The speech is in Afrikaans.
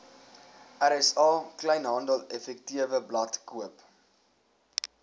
rsa kleinhandeleffektewebblad koop